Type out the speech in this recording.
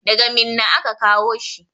Daga Minna aka kawo shi.